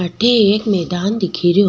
अठे एक मैदान दिखे रो।